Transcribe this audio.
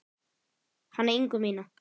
Hana Ingu mína.